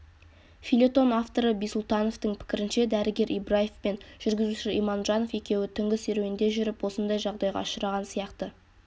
фельетон авторы бисұлтановтің пікірінше дәрігер ибраев пен жүргізуші иманжанов екеуі түнгі серуенде жүріп осындай жағдайға ұшыраған сияқты